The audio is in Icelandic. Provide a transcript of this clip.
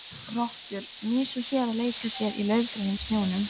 Rottur, mýs og hérar leika sér í laufgrænum snjónum.